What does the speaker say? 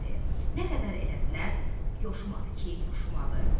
Nə qədər elədilər, yoşumadı ki, yoşumadı.